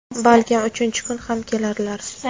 Balkim uchinchi kun ham kelarlar).